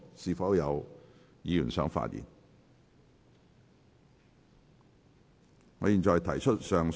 是否有議員想發言？